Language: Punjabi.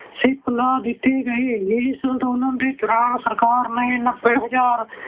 ship ਲਗਾ ਦਿੱਤੀ ਗਈ। ਇਸ ਅੰਦੋਲਨ ਦੌਰਾਨ ਸਰਕਾਰ ਨੇ ਨੱਬੇ ਹਜ਼ਾਰ